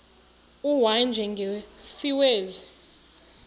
u y njengesiwezi